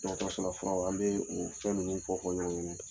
Dɔgɔtɔrɔsola furaw an bɛ o fɛn ninnu fɔfɔ ɲɔgɔn ɲɛna.